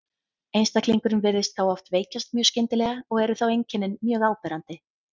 Einstaklingurinn virðist þá oft veikjast mjög skyndilega og eru þá einkennin mjög áberandi.